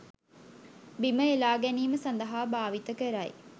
බිම එළා ගැනීම සඳහා භාවිත කරයි.